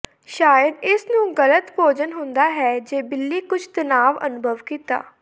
ਸ਼ਾਇਦ ਇਸ ਨੂੰ ਗਲਤ ਭੋਜਨ ਹੁੰਦਾ ਹੈ ਜ ਬਿੱਲੀ ਕੁਝ ਤਣਾਅ ਅਨੁਭਵ ਕੀਤਾ